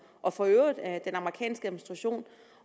og for øvrigt af den amerikanske administration